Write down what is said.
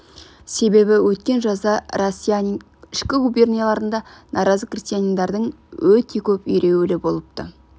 себебі өткен жазда россиянин ішкі губернияларында наразы крестьяндардың өте көп ереуілі болыпты